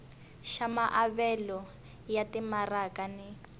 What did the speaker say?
xa maavelo ya timaraka ni